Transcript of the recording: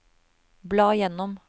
bla gjennom